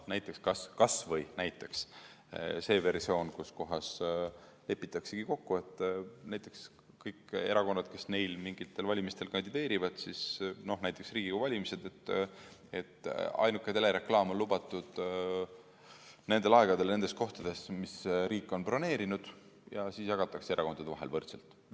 Näiteks kas või see versioon, mille puhul lepitakse kokku, et kõigil erakondadel, kes neil mingitel valimistel kandideerivad, näiteks Riigikogu valimistel, on ainuke telereklaam lubatud nendel aegadel nendes kohtades, mis riik on broneerinud, ja siis jagatakse erakondade vahel võrdselt.